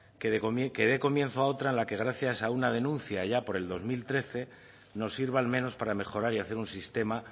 que dé comienzo a otra en la que gracias a una denuncia allá por el dos mil trece nos sirva al menos para mejorar y hacer un sistema